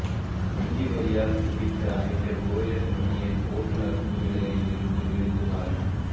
நெஞ்சு வலியால் துடித்த அமைச்சர் ஓஎஸ் மணியனின் ஓட்டுநர் டுவீலரில் இருந்து விழுந்து மரணம்